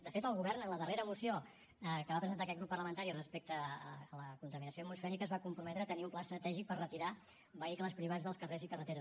de fet el govern en la darrera moció que va presentar aquest grup parlamentari respecte a la contaminació atmosfèrica es va comprometre a tenir un pla estratègic per retirar vehicles privats dels carrers i carreteres